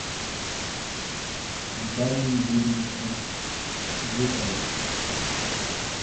виталии юрьевиче глухове